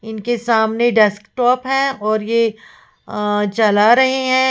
इनके सामने डेस्कटॉप है और ये अ चला रहे हैं।